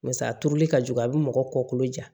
Basa a turuli ka jugu a bi mɔgɔ kɔkolo ja